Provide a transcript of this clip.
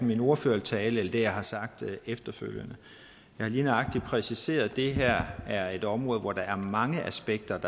min ordførertale eller det jeg har sagt efterfølgende jeg har lige nøjagtig præciseret at det her er et område hvor mange aspekter